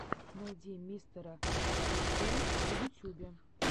найди мистера фриквера в ютьюбе